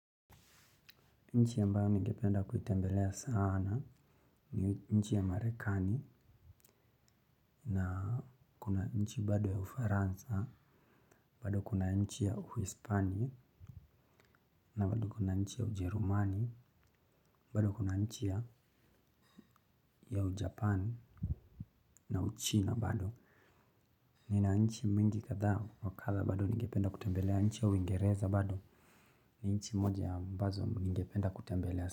Nchi yambao ningependa kutembelea sana ni nchi ya marekani na kuna nchi bado ya ufaransa, bado kuna nchi ya uhispanye na bado kuna nchi ya ujerumani, bado kuna nchi ya ujapani na uchina bado. Nina nchi mwezi katha wakatha bado ningependa kutembelea nchi ya uingereza bado ni nchi moja ambazo ningependa kutembelea sana.